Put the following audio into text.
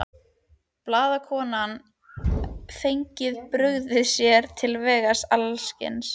Blaðakonan hafði brugðið sér frá vegna ölsins.